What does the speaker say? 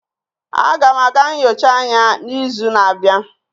Aga m aga nyocha anya n'izu na-abịa.